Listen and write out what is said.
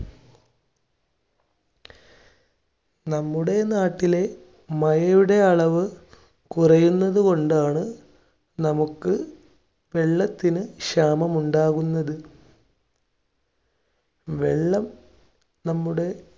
നമ്മുടെ നാട്ടിലെ മഴയുടെ അളവ് കുറയുന്നത് കൊണ്ടാണ് നമുക്ക് വെള്ളത്തിന് ക്ഷാമം ഉണ്ടാകുന്നത്. വെള്ളം നമ്മുടെ